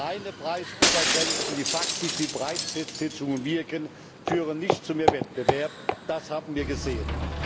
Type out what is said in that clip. Reine Preisobergrenzen, die faktisch wie Preisfestsetzungen wirken, führen nicht zu mehr Wettbewerb, das haben wir gesehen.